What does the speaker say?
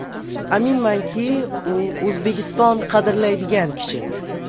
Aminmanki, u O‘zbekiston qadrlaydigan kishi.